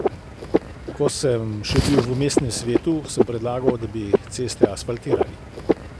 Ko sem še bil v mestnem svetu, sem predlagal, da bi ceste asfaltirali.